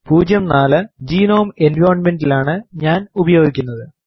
04 GNOME environment ലാണ് ഞാൻ ഉപയോഗിക്കുന്നത്